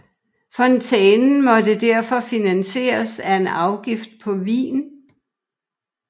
Fontænen måtte derfor finansieres af en afgift på vin